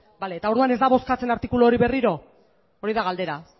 bale eta orduan ez da bozkatzen artikulu hori berriro hori da galdera